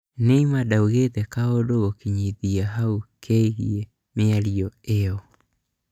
Neymar ndaugĩte kaũndũ gũkinyithia hau kegiĩ mĩario ĩyo